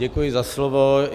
Děkuji za slovo.